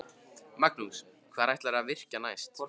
Magnús: Hvar ætlarðu að virkja næst?